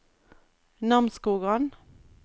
Namsskogan